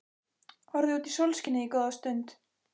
Horfði út í sólskinið góða stund.